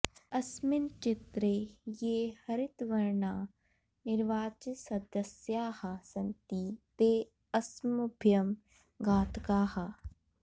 अस्मिन् चित्रे ये हरितवर्णा निर्वाचितसदस्याः सन्ति ते अस्मभ्यं घातकाः